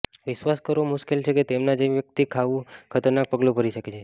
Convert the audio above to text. વિશ્વાસ કરવો મુશ્કેલ છે કે તેમના જેવી વ્યક્તિ આવું ખતરનાક પગલું ભરી શકે છે